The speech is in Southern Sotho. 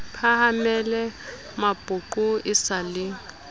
phahamele mapoqo e sa le